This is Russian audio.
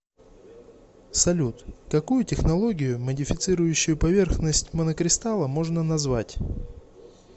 салют какую технологию модифицирующую поверхность монокристалла можно назвать